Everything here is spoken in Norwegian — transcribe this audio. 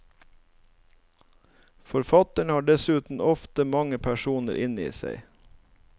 Forfattere har dessuten ofte mange personer inne i seg.